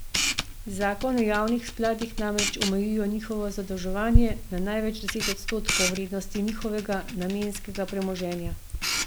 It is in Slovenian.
Zakon o javnih skladih namreč omejuje njihovo zadolževanje na največ deset odstotkov vrednosti njihovega namenskega premoženja.